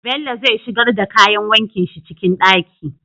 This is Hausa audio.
Bello zai shigar da kayan wankin shi ciki ɗaki